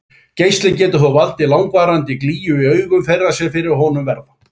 Geislinn getur þó valdið langvarandi glýju í augum þeirra sem fyrir honum verða.